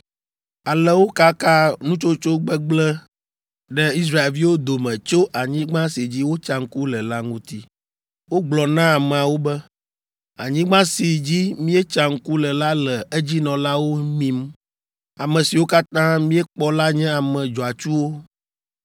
Ale wokaka nutsotso gbegblẽ ɖe Israelviwo dome tso anyigba si dzi wotsa ŋku le la ŋuti. Wogblɔ na ameawo be, “Anyigba si dzi míetsa ŋku le la le edzinɔlawo mim. Ame siwo katã míekpɔ la nye ame dzɔatsuwo.